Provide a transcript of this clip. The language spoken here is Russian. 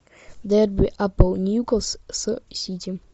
дерби апл ньюкасл с сити